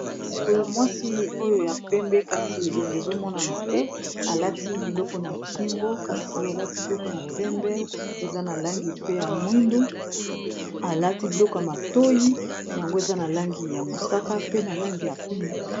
Sikoyo mwasi oyo ya pembe kasi elongo ezo monana te alati biloko na kingo kasi alati biloko ya pembe eza na langi pe ya mwindu, alati biloko ya matoyi yango eza na langi ya mosaka pe na langi ya pembe.